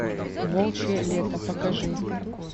волчье лето покажи